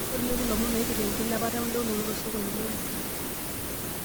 tolikioki ilomon oipirta enkilepata oendounoto tosokoni le hisa